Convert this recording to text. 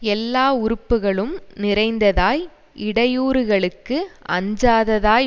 எல்லா உறுப்புக்களும் நிறைந்ததாய் இடையூறுகளுக்கு அஞ்சாததாய்